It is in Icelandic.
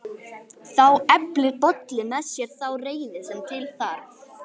Þá eflir Bolli með sér þá reiði sem til þarf: